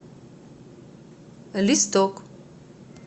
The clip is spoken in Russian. листок